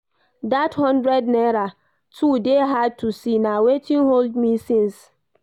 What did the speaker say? Dat hundred naira too dey hard to see, na wetin hold me since